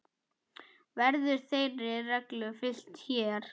Verður þeirri reglu fylgt hér.